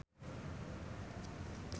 Agatha Chelsea jeung Queen keur dipoto ku wartawan